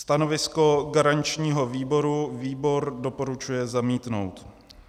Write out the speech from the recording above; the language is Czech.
Stanovisko garančního výboru - výbor doporučuje zamítnout.